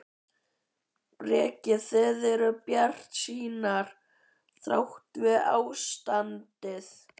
Breki: Þið eruð bjartsýnar þrátt fyrir ástandið?